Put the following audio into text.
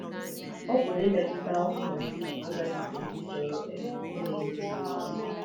Ọ pụrụ imetụta ọbụna ndị agadi bụ́ ndị chọrọ um ime ihe ziri ezi.